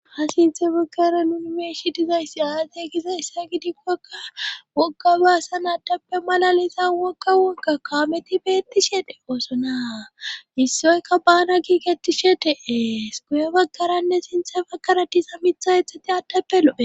ha sinthe bogara yunimersidizayssi aate gisa issa gidikkokka wokga baasan addappe malalisan wokga woka kaameti beettishe de oosonaa issoyka baana kiiketti she dee s guye bagkaranne sinthe bakaratisa mitha ethati addappe lo7e